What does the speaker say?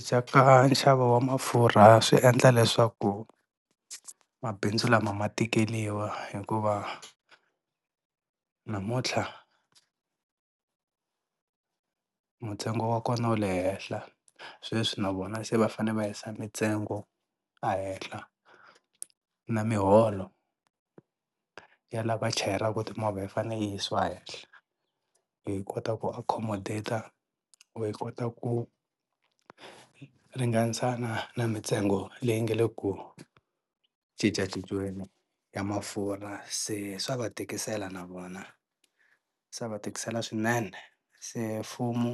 Dya ka nxavo wa mafurha swi endla leswaku mabindzu lama ma tikeriwa hikuva namuntlha ntsengo wa kona wu le henhla sweswi na vona se va fanele va yisa mintsengo ehehla na miholo ya la va chayelaka timovha yi fanele yi yisiwa hehla, hi kota ku akhomadeta or hi kota ku ringanisana na mintsengo leyi nga le ku cincacinciweni ya mafurha se swa va tikisela na vona, swa va tikisela swinene se mfumo